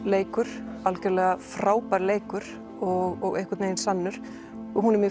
leikur algjörlega frábær leikur og einhvern vegin sannur og hún er mjög